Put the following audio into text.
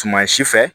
Tuma si fɛ